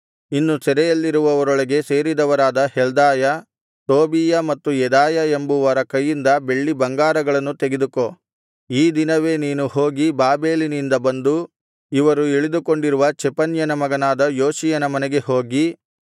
ಇನ್ನು ಸೆರೆಯಲ್ಲಿರುವವರೊಳಗೆ ಸೇರಿದವರಾದ ಹೆಲ್ದಾಯ ತೋಬೀಯ ಮತ್ತು ಯೆದಾಯ ಎಂಬುವರ ಕೈಯಿಂದ ಬೆಳ್ಳಿ ಬಂಗಾರಗಳನ್ನು ತೆಗೆದುಕೋ ಈ ದಿನವೇ ನೀನು ಹೋಗಿ ಬಾಬೆಲಿನಿಂದ ಬಂದು ಇವರು ಇಳಿದುಕೊಂಡಿರುವ ಚೆಫನ್ಯನ ಮಗನಾದ ಯೋಷಿಯನ ಮನೆಗೆ ಹೋಗಿ